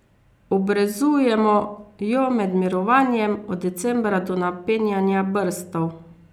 Obrezujemo jo med mirovanjem, od decembra do napenjanja brstov.